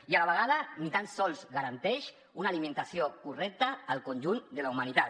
i a la vegada ni tan sols garanteix una alimentació correcta al conjunt de la humanitat